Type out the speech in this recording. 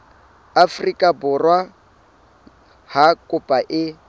afrika borwa ha kopo e